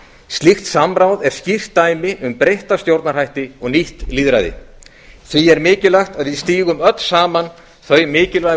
slíkt samráð er skýrt dæmi um breytta stjórnarhætti og nýtt lýðræði því er mikilvægt að við stígum öll saman þau mikilvægu